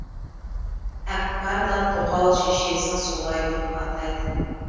әкпар да тоқал шешесін солай деп атайтын